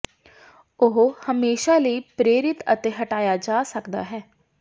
ਉਹ ਹਮੇਸ਼ਾ ਲਈ ਪ੍ਰੇਰਿਤ ਜ ਹਟਾਇਆ ਜਾ ਸਕਦਾ ਹੈ